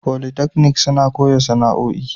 Polytechnic suna koya sana'o'i.